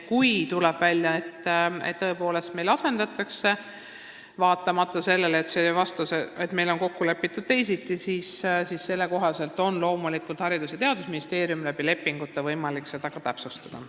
Kui tuleb välja, et tõepoolest õppekavu asendatakse, vaatamata sellele, et kokku on lepitud teisiti, siis on Haridus- ja Teadusministeeriumil loomulikult lepingute abil võimalik seda täpsustada.